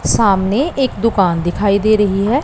सामने एक दुकान दिखाई दे रही है।